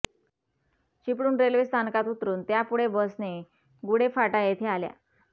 Chiplun railway स्थानकात उतरुन त्यापुढे बसने गुढे फाटा येथे आल्या